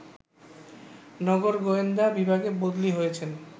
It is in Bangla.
নগর গোয়েন্দা বিভাগে বদলি হয়েছেন